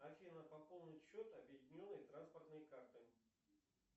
афина пополнить счет объединенной транспортной карты